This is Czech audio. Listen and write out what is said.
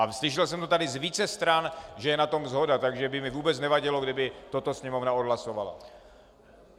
A slyšel jsem to tady z více stran, že je na tom shoda, takže by mi vůbec nevadilo, kdyby toto Sněmovna odhlasovala.